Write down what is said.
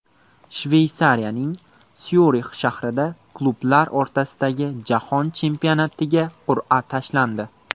Shveysariyaning Syurix shahrida klublar o‘rtasidagi Jahon chempionatiga qur’a tashlandi.